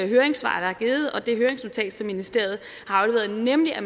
høringssvar der er givet og det høringsnotat som ministeriet har afleveret nemlig at